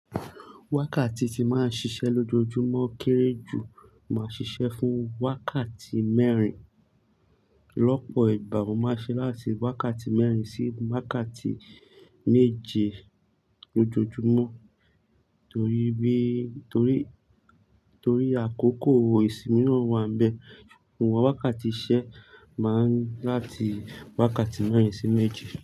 Wákàtí tí máa ń ṣiṣẹ́ lójoojúmọ́ kéré jù máa ṣiṣẹ́ fún wákàtí mẹ́rin. Lọ́pọ̀ ìgbà mo máa ń ṣe láti wákàtí mẹ́rin sí wákàtí méje lójoojúmọ́ torí bí, torí, torí àkókò ìsinmi náà wà níbẹ̀. Ṣùgbọ́n wákàtí iṣẹ́ máa ń láti wákàtí mẹ́rin sí méje.